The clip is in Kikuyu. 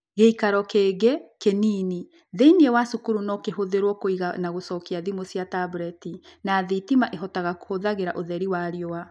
Gĩikaro kĩngĩ (kĩnini) thĩinĩ wa cukuru no kĩhũthĩrũo kũiga na gũcokia thimu cia tablet, na thitima ĩhotaga kũhũthagĩra ũtheri wa riũa.